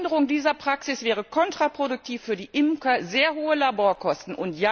Eine Änderung dieser Praxis wäre kontraproduktiv für die Imker sehr hohe Laborkosten.